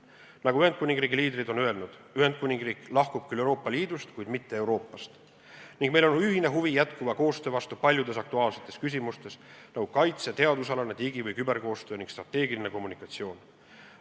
Nagu Ühendkuningriigi liidrid on öelnud, Ühendkuningriik lahkub küll Euroopa Liidust, kuid mitte Euroopast, ning meil on ühine huvi jätkuva koostöö vastu paljudes aktuaalsetes küsimustes, nagu näiteks kaitse-, teadusalane, digi- ja küberkoostöö ning strateegiline kommunikatsioon.